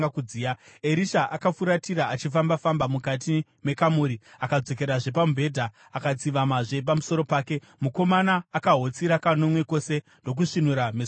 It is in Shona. Erisha akafuratira, achifamba-famba mukati mekamuri akadzokerazve pamubhedha akatsivamazve pamusoro pake. Mukomana akahotsira kanomwe kose ndokusvinura meso ake.